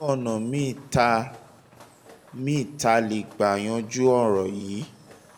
ọ̀nà míì tá a míì tá a lè gbà yanjú ọ̀ràn yìí